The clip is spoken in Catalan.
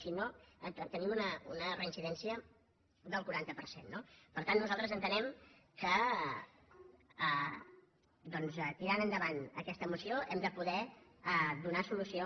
si no tenim una reincidència del quaranta per cent no per tant nosaltres entenem que tirant endavant aquesta moció hem de poder donar solució